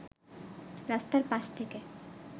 রাস্তার পাশ থেকে